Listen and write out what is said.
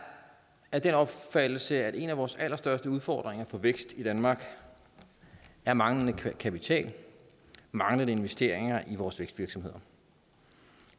af den opfattelse at en af vores allerstørste udfordringer for vækst i danmark er manglende kapital manglende investeringer i vores vækstvirksomheder